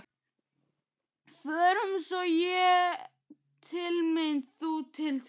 Förum svo, ég til mín, þú til þín.